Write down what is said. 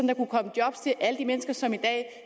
der kunne komme job til alle de mennesker som i dag